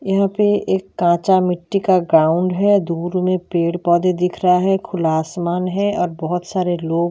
यहाँ पे एक कच्चा मिट्टी का ग्राउंड है दूर में पेड़-पौधे दिख रहा है खुला आसमान है और बहुत सारे लोग --